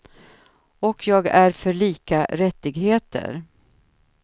Och jag är för lika rättigheter.